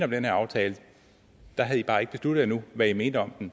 den her aftale i havde bare ikke besluttet jer endnu hvad i mente om den